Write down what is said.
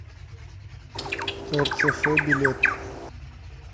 эрцэфэ билет